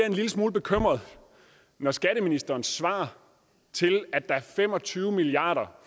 en lille smule bekymret når skatteministerens svar til at der er fem og tyve milliard kr